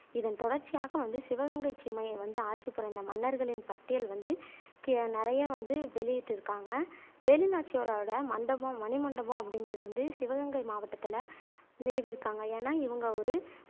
இதன் தொடர்ச்சியாக வந்து சிவகங்கைச் சீமையை வந்து ஆட்சி புரிந்த மன்னர்களின் பட்டியல் வந்து கீழே நிறைய வந்து வெளியிட்டு இருக்காங்க வேலுநாச்சியாரோட மண்டபம் மணிமண்டபம் அப்படிங்குறது வந்து சிவகங்கை மாவட்டத்துல நிறுவிருக்காங்க ஏன்னா இவங்க ஒரு